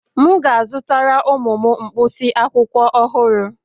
M ga-azụtara ụmụ m mkpịsị akwụkwọ ọhụrụ